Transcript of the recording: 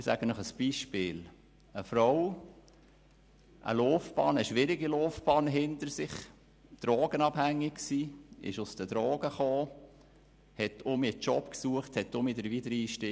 Ich nenne Ihnen ein Beispiel: Eine Frau, die eine schwierige Laufbahn hinter sich hatte und drogenabhängig war, dann von den Drogen loskam, suchte einen Job und damit den Wiedereinstieg.